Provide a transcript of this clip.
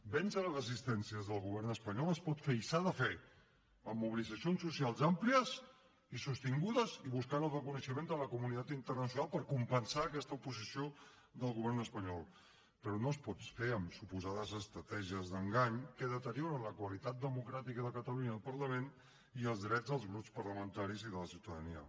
vèncer les resistències del govern espanyol es pot fer i s’ha de fer amb mobilitzacions socials àmplies i sostingudes i buscant el reconeixement de la comunitat internacional per compensar aquesta oposició del govern espanyol però no es pot fer amb suposades estratègies d’engany que deterioren la qualitat democràtica de catalunya i el parlament i els drets dels grups parlamentaris i de la ciutadania